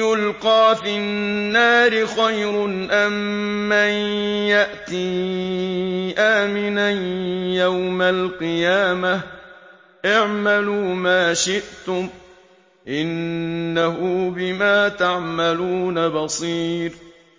يُلْقَىٰ فِي النَّارِ خَيْرٌ أَم مَّن يَأْتِي آمِنًا يَوْمَ الْقِيَامَةِ ۚ اعْمَلُوا مَا شِئْتُمْ ۖ إِنَّهُ بِمَا تَعْمَلُونَ بَصِيرٌ